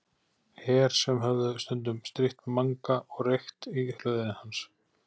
Her sem höfðu stundum strítt Manga og reykt í hlöðunni hans.